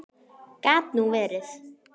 Gat nú verið